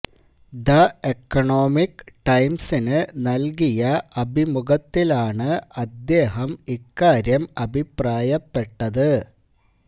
the economic ടൈംസിന് നൽകിയ അഭിമുഖത്തിലാണ് അദ്ദേഹം ഇക്കാര്യം അഭിപ്രായപ്പെട്ടത്